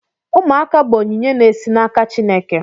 Ụmụaka bụ onyinye na-esi n'aka Chineke.